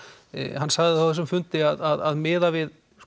hann sagði á þessum fundi að miðað við